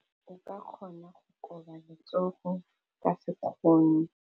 O ka kgona go koba letsogo ka sekgono.